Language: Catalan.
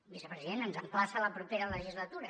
vicepresident ens emplaça a la propera legislatura